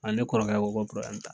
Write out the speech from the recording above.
A ne kɔrɔkɛ ko ko t'a la.